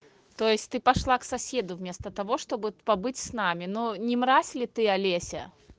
то есть ты пошла к соседу вместо того чтобы побыть с нами ну не мразь ли ты олеся